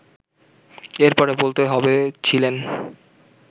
এরপরে বলতে হবে ছিলেন